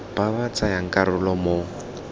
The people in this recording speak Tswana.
ba ba tsayang karolo mo